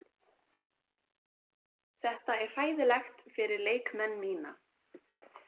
Þetta er hræðilegt fyrir leikmenn mína.